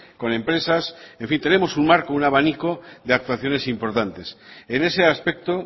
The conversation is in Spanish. con empresas en fin tenemos un marco un abanico de actuaciones importantes en ese aspecto